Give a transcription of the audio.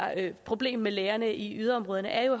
problem med lægerne i yderområderne er jo